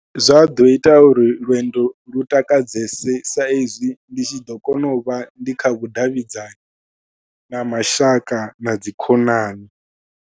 Zwa ḓo ita uri lwendo lu takadzese saizwi ndi tshi ḓo kona u vha ndi kha vhudavhidzani na mashaka na dzi khonani.